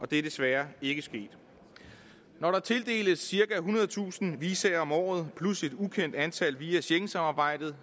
det er desværre ikke sket når der tildeles cirka ethundredetusind visa om året plus et ukendt antal visa via schengensamarbejdet